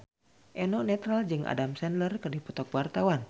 Eno Netral jeung Adam Sandler keur dipoto ku wartawan